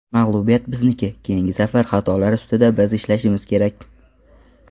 Mag‘lubiyat bizniki, keyingi safar xatolar ustida biz ishlashimiz kerak.